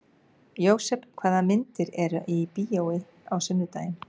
Jósef, hvaða myndir eru í bíó á sunnudaginn?